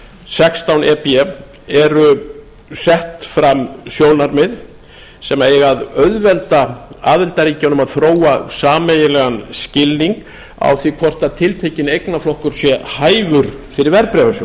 sextán e b eru sett fram sjónarmið sem eiga að auðvelda aðildarríkjunum að þróa sameiginlegan skilning á því hvort tiltekinn eignaflokkur sé hæfur fyrir